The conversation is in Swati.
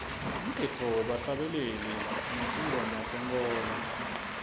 umgidvo webahlabeleli betingoma tenkholo